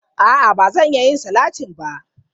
A'a, ba zan iya yin salati ba.